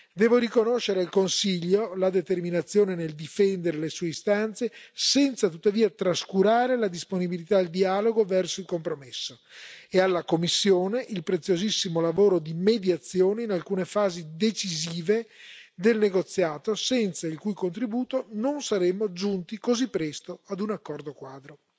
Devo riconoscere al Consiglio la determinazione nel difendere le sue istanze, senza tuttavia trascurare la disponibilità al dialogo verso il compromesso, e alla Commissione il preziosissimo lavoro di mediazione in alcune fasi decisive del negoziato, senza il cui contributo non saremmo giunti così presto a un accordo quadro.